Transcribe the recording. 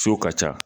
So ka ca